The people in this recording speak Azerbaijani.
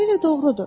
Tamamilə doğrudur.